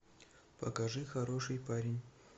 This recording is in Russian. покажи хороший парень